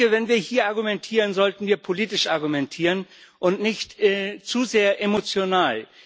Wenn wir hier argumentieren, sollten wir politisch argumentieren und nicht zu sehr emotional.